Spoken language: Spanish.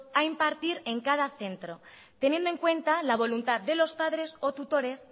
a impartir en cada centro teniendo en cuenta la voluntad de los padres o tutores